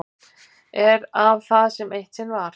Er af það sem eitt sinn var.